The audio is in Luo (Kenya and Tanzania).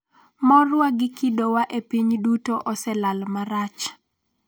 morwa gi kido wa e piny duto oselal marach